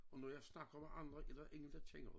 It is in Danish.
Og når jeg snakker med andre er der ingen der kender det